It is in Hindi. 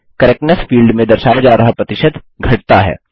करेक्टनेस फील्ड में दर्शाया जा रहा प्रतिशत घटता है